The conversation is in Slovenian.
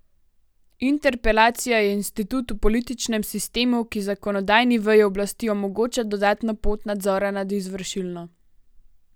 Interpelacija je institut v političnem sistemu, ki zakonodajni veji oblasti omogoča dodatno pot nadzora nad izvršilno.